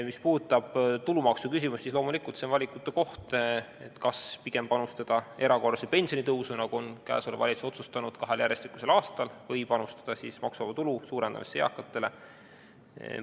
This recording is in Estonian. Mis puudutab tulumaksuküsimust, siis loomulikult on see valikute koht – kas panustada pigem erakorralisse pensionitõusu, nagu praegune valitsus on otsustanud kahel järjestikusel aastal, või maksuvaba tulu suurendamisse eakatel?